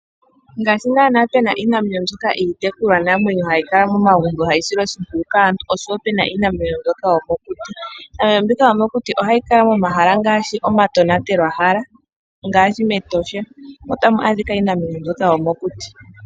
Ngaashi naanawa pena iinamwenyo mbyoka iitekulwanamwenyo hayi kala momagumbo hayi silwa oshimpwiyu kaantu, oshowo pena iinamwenyo mbyoka yokokuti, iinamwenyo mbika yomokuti ohayi kala momahala ngaashi omatonatelwahala ngaashi mEtosha otamu adhika mbyoka yomokuti.